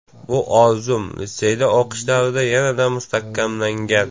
Bu orzum litseyda o‘qish davrida yanada mustahkamlangan.